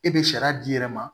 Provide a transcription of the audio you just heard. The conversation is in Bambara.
E be sariya d'i yɛrɛ ma